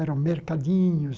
Eram mercadinhos.